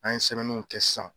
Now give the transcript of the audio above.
An ye sɛbɛnniw kɛ sisan